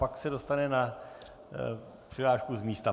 Pak se dostane na přihlášku z místa.